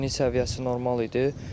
Çətinlik səviyyəsi normal idi.